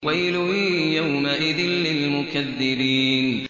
وَيْلٌ يَوْمَئِذٍ لِّلْمُكَذِّبِينَ